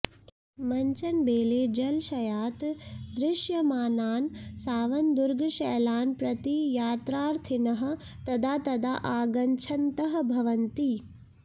मञ्चनबेलेजलशयात् दृश्यमानान् सावनदुर्गशैलान् प्रति यात्रार्थिनः तदा तदा आगच्छन्तः भवन्ति